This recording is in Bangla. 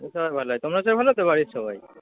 সবাই ভালো আছে? বাড়ির সবাই?